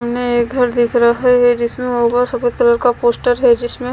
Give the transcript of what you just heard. हमें एक घर दिख रहा है जिसमें सफेद कलर का पोस्टर है जिसमें--